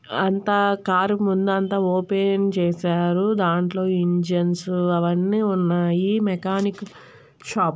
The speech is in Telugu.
అంతా కార్ ముందంతా ఓ పెన్ చేసారు. దాంట్లో ఇంజన్స్ అవ్వన్నీ ఉన్నాయి. Mechanic shop .